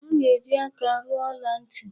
A ga-eji aka rụọ ọla ntị.